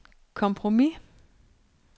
kompromis